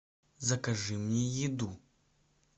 закажи мне еду